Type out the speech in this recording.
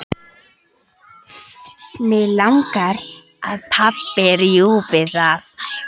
Mig langar að pabbi rjúfi það.